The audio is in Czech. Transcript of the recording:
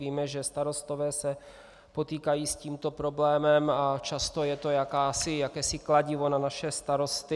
Víme, že starostové se potýkají s tímto problémem a často je to jakési kladivo na naše starosty.